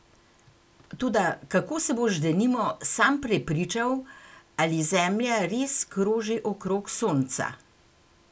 Toda kako se boš denimo sam prepričal, ali Zemlja res kroži okrog sonca?